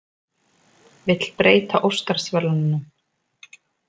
Vill breyta Óskarsverðlaununum